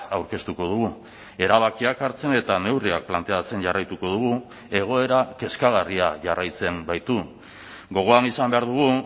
aurkeztuko dugu erabakiak hartzen eta neurriak planteatzen jarraituko dugu egoera kezkagarria jarraitzen baitu gogoan izan behar dugu